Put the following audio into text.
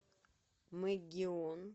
мегион